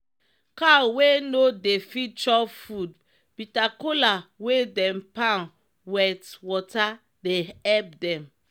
cow wey no dey fit chop food bita kola wey dem pound weit water dey epp dem.